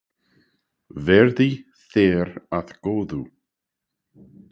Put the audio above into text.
Verði þér að góðu.